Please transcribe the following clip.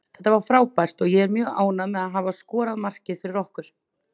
Þetta var frábært og ég er mjög ánægður með að hafa skorað markið fyrir okkur.